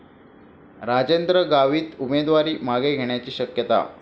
राजेंद्र गावित उमेदवारी मागे घेण्याची शक्यता